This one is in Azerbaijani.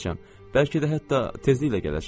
Bəlkə də hətta tezliklə gələcəm.